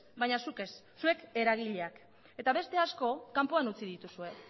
baina zuk ez zuek eragileak eta beste asko kanpoan utzi dituzue